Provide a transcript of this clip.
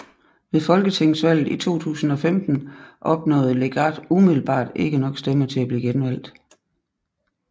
Ved Folketingsvalget 2015 opnåede Legarth umiddelbart ikke nok stemmer til at blive genvalgt